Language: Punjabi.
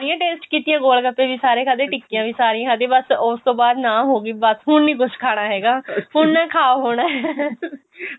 ਸਾਰੀਆਂ taste ਕੀਤੀਆਂ ਗੋਲ ਗੱਪੇ ਵੀ ਸਾਰੇ ਖਾਦੇ ਟਿੱਕੀਆਂ ਵੀ ਸਾਰੀਆਂ ਖਾਦੀਆਂ ਬੱਸ ਉਸ ਤੋਂ ਬਾਅਦ ਨਾ ਹੋ ਗਈ ਬੱਸ ਹੁਣ ਨਹੀਂ ਕੁੱਝ ਖਾਣਾ ਹੈਗਾ ਹੁਣ ਖਾ ਹੋਣਾ